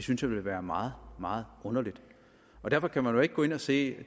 synes jeg ville være meget meget underligt derfor kan man jo ikke gå ind og sige at